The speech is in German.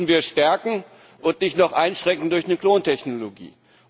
Diese müssen wir stärken und nicht noch einschränken durch eine Klontechnologie.